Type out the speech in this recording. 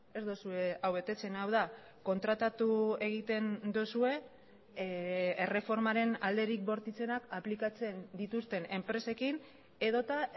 ez duzue hau betetzen hau da kontratatu egiten duzue erreformaren alderik bortitzenak aplikatzen dituzten enpresekin edota